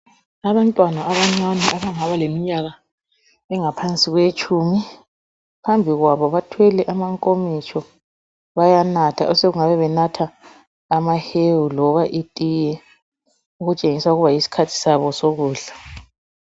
Abantwana abancane abangaba leminyaka engaphansi kweyetshumi. Phambi kwabo bathwele amankomitsho, bayanatha, osokungabe benatha amahewu loba itiye okutshengisa ukuba yisikhathi sabo esokudla.